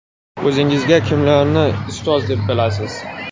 O‘zingizga kimlarni ustoz deb bilasiz?